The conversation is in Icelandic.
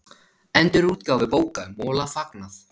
Endurútgáfu bóka um Mola fagnað